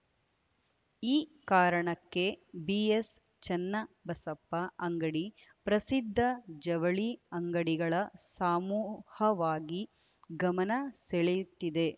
ಈ ಕಾರಣಕ್ಕೆ ಬಿಎಸ್‌ಚನ್ನಬಸಪ್ಪ ಅಂಗಡಿ ಪ್ರಸಿದ್ಧ ಜವಳಿ ಅಂಗಡಿಗಳ ಸಮೂಹವಾಗಿ ಗಮನ ಸೆಳೆಯುತ್ತಿದೆ